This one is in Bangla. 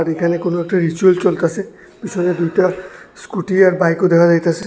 এইখানে কোন একটা রিচুয়াল চলতাসে পিছনে দুইটা স্কুটি আর বাইকও দেখা যাইতাসে।